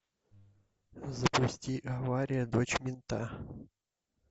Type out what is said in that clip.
запусти авария дочь мента